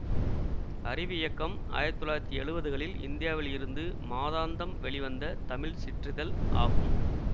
அறிவியக்கம் ஆயிரத்தி தொள்ளாயிரத்தி எழுவதுகளில் இந்தியாவில் இருந்து மாதாந்தம் வெளிவந்த தமிழ் சிற்றிதழ் ஆகும்